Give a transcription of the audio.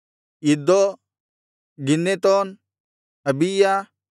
ಇದ್ದೋ ಗಿನ್ನೆತೋನ್ ಅಬೀಯ